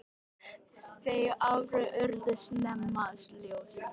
Þau áhrif urðu snemma ljós.